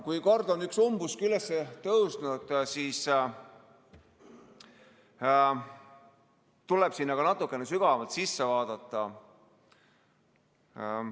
Kui kord on üks umbusk üles tõusnud, siis tuleb sinna ka natukene sügavamalt sisse vaadata.